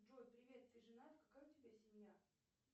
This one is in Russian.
джой привет ты женат какая у тебя семья